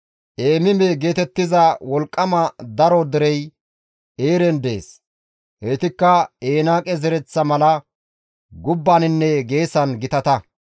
[Eemime geetettiza wolqqama daro derey Eeren dees; heytikka Enaaqe zereththa mala gubbaninne geesan gitata.